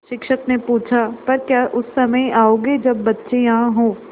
शिक्षक ने पूछा पर क्या उस समय आओगे जब बच्चे यहाँ हों